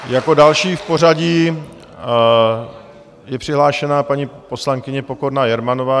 Jako další v pořadí je přihlášená paní poslankyně Pokorná Jermanová.